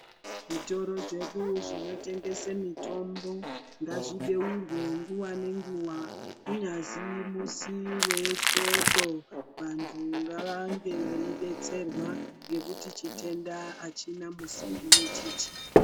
Zvitoro zvedu zvinotengese mutombo ngazvibeurwe nguwa ngenguwa kunyazi musi wesvondo vantu ngavange vechidetserwa ngekuti chitenda achina musi wechechi.